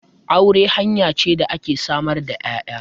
Aure hanya ce da ke samar da 'ya'ya.